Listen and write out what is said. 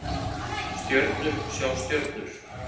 Stjörnur sjá stjörnur